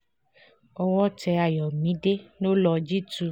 owó tẹ àyọ̀mídé lọ́lọ́ọ́ jí tu